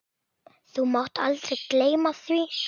Þú mátt aldrei gleyma því.